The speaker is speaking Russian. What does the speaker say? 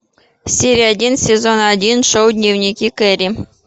серия один сезон один шоу дневники кэрри